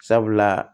Sabula